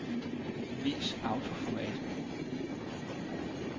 Vis autoformat.